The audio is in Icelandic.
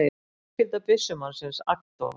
Fjölskylda byssumannsins agndofa